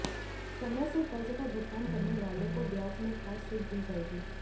समय से कर्ज का भुगतान करने वालों को ब्याज में खास छूट दी जाएगी